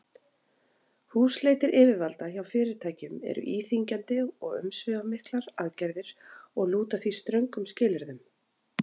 Húsleitir yfirvalda hjá fyrirtækjum eru íþyngjandi og umsvifamiklar aðgerðir og lúta því ströngum skilyrðum.